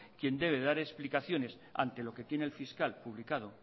quien debe dar explicaciones ante lo que tiene el fiscal publicado